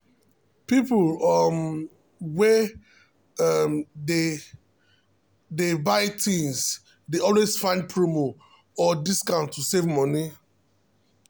people um wey um dey dey buy things dey always find promo or discount to save money. um